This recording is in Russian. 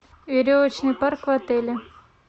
веревочный парк в отеле